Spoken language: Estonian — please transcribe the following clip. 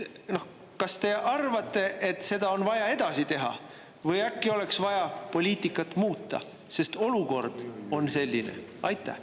Kas te arvate, et seda on vaja edasi teha, või äkki oleks vaja poliitikat muuta, sest olukord on selline?